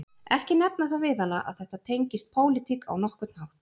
Ekki nefna það við hana að þetta tengist pólitík á nokkurn hátt